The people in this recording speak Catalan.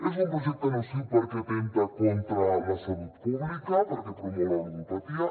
és un projecte nociu perquè atempta contra la salut pública perquè promou la ludopatia